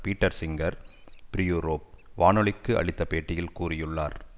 Peter Singer free Europe வானொலிக்கு அளித்த பேட்டியில் கூறியுள்ளார்